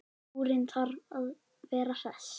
Súrinn þarf að vera hress!